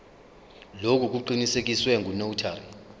lokhu kuqinisekiswe ngunotary